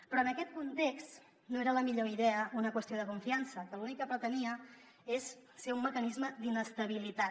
però en aquest context no era la millor idea una qüestió de confiança que l’únic que pretenia és ser un mecanisme d’inestabilitat